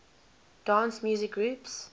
dance music groups